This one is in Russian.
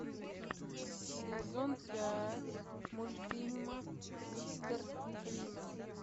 сезон пять мультфильма мистер фримен